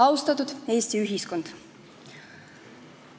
Austatud Eesti ühiskond!